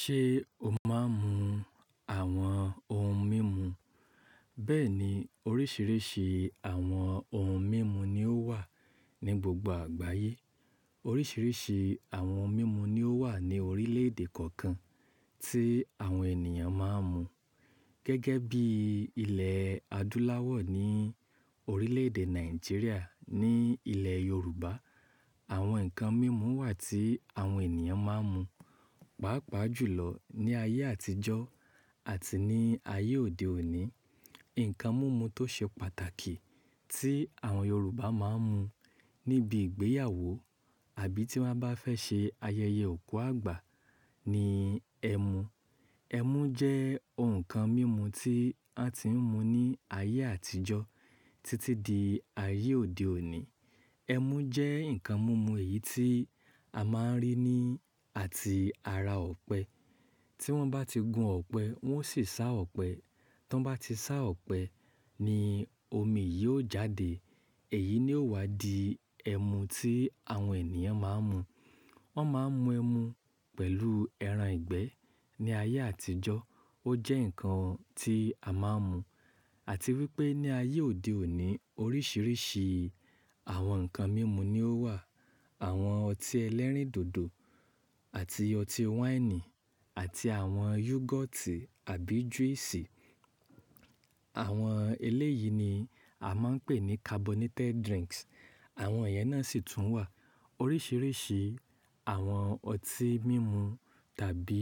Ṣé o máa ń mu àwọn ohun mímu? Bẹ́ẹ̀ni oríṣìíríṣìí àwọn ohun mímu ni ó wà ní gbogbo àgbáyé. Oríṣìíríṣìí àwọn ohun mímu ni ó wà ní orílẹ̀èdè kọ̀ọ̀kan tí àwọn ènìyàn máa ń mu. Gẹ́gẹ́ bí ilẹ̀ adúláwọ̀ ní orílẹ̀èdè Nàìjíríà ní ilẹ̀ Yorùbá, àwọn nǹkan mímu wà tí àwọn ènìyàn máa ń mu. Pàápàá jùlọ ní ayé àtijọ́ àti ní ayé òde òní, ǹkan mímu tó ṣe pàtàkì tí àwọn Yorùbá máa ń mu níbi ìgbéyàwó àbí tí wọ́n bá fẹ́ ṣe ayẹyẹ òkú àgbà ni ẹmu. Ẹmu jẹ́ ohun kan mímu tí wọ́n ti ń mu ní ayé àtijọ́ títí di ayé òde òní. Ẹmu jẹ́ ǹkan mímu èyí tí a máa ń rí ní àti ara ọ̀pẹ. Tí wọ́n bá ti gún ọ̀pẹ, wọ́n sì sá ọ̀pẹ. Tí wọ́n bá ti sá ọ̀pẹ ni omi yìí ó jáde, èyí ni ó wá di ẹmu tí àwọn ènìyàn máa ń mu. Wọ́n máa ń mu ẹmu pẹ̀lú ẹran ìgbẹ́ ní ayé àtijọ́. Ó jẹ́ ǹkan tí a máa ń mu àti wípé ní ayé òde òní oríṣìíríṣìí àwọn ǹkan mímu ni ó wà. Àwọn ọtí ẹlẹ́rìndòdò àti ọtí wáìnì àti àwọn yúgọ́ọ́tì àbí júísì. Àwọn eléyìí ni a máa ń pè ní carbonated drinks. Àwọn ìyẹn náà sì tún wà. Oríṣìíríṣìí àwọn ọtí mímu tàbí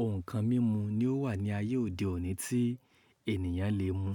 ohun kan mímu ni ó wà ní ayé òde òní tí ènìyàn lè mu.